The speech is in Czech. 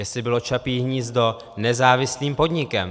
Jestli bylo Čapí hnízdo nezávislým podnikem.